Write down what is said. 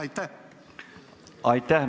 Aitäh!